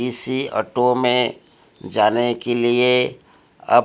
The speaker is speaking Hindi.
इसी ऑटो में जाने के लिए अब--